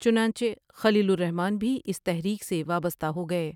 چنانچہ خلیل الرحمن بھی اس تحریک سے وابستہ ہو گئے ۔